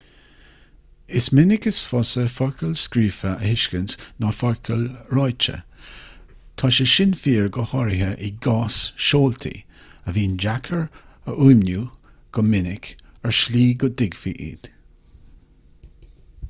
is minic is fusa focail scríofa a thuiscint ná focail ráite tá sé sin fíor go háirithe i gcás seoltaí a bhíonn deacair a fhuaimniú go minic ar shlí a dtuigfí iad